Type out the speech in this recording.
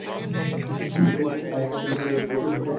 যিটো বস্তু পাইছে তেওঁলোকে সিটো আনিছে